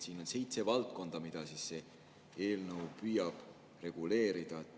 Siin on seitse valdkonda, mida see eelnõu püüab reguleerida.